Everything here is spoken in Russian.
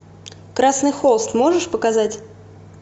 красный холст можешь показать